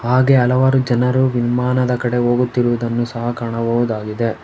ಹಾಗೆ ಹಲವಾರು ಜನರು ವಿಮಾನದ ಕಡೆ ಹೋಗುತ್ತಿರುವುದನ್ನು ಸಹ ಕಾಣಬಹುದಾಗಿದೆ.